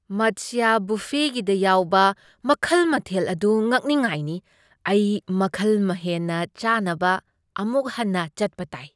ꯃꯠꯁ꯭ꯌꯥ ꯕꯨꯐꯦꯒꯤꯗ ꯌꯥꯎꯕ ꯃꯈꯜ ꯃꯊꯦꯜ ꯑꯗꯨ ꯉꯛꯅꯤꯉꯥꯢꯅꯤ! ꯑꯩ ꯃꯈꯜ ꯍꯦꯟꯅ ꯆꯥꯅꯕ ꯑꯃꯨꯛ ꯍꯟꯅ ꯆꯠꯄ ꯇꯥꯢ꯫